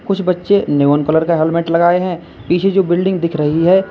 कुछ बच्चे neon colour का हेलमेट लगाए हैं पीछे जो बिल्डिंग दिख रही है।